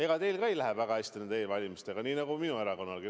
Ega teil ka ei lähe väga hästi nende e-valimistega, nii nagu minu erakonnalgi.